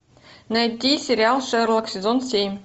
найти сериал шерлок сезон семь